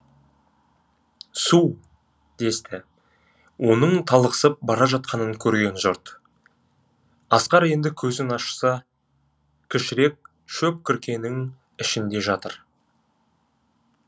су десті оның талықсып бара жатқанын көрген жұрт асқар енді көзін ашса кішірек шөп күркенің ішінде жатыр